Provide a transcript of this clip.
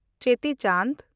ᱪᱮᱛᱤ ᱪᱟᱱᱰ